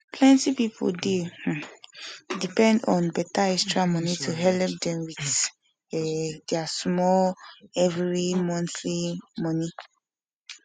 plenti pipu dey um depend um on beta extra moni to helep dem wit um deir smoll everi montl moni